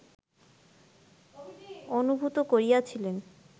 অনুভূত করিয়াছিলেন